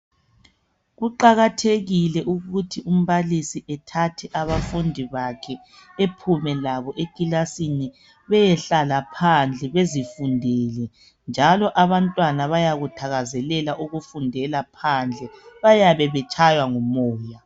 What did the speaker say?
kuqakathekile ukuthi umbalisi ethathe abafundi bakhe ephume labo ekilasini beyehlala phandle bezifundele njalo abantwana bayakuthakazelela ukufundela phandle bayabe betshaywa ngu moya